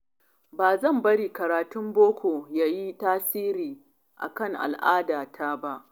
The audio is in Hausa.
Ba zan bari karatun boko ya yi tasiri akan al'adata ba.